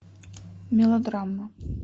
мелодрама